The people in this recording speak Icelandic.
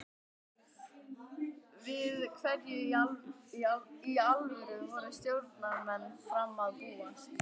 Við hverju í alvöru voru stjórnarmenn Fram að búast?